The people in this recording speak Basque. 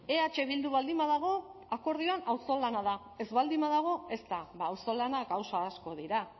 eh bildu baldin badago akordioan auzolana da ez baldin badago ez da auzolana gauza asko dira